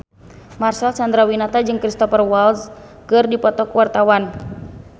Marcel Chandrawinata jeung Cristhoper Waltz keur dipoto ku wartawan